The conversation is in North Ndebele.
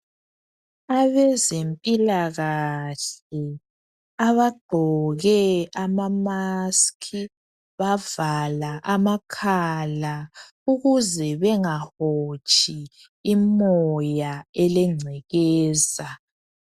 Abezempilakahle abagqoke amamaski bavala amakhala ukuze bengahotshi imoya elengcekeza.